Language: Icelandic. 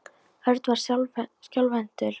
Örn var skjálfhentur þegar hann tók bréfið úr.